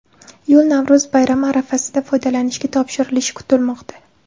Yo‘l Navro‘z bayrami arafasida foydalanishga topshirilishi kutilmoqda.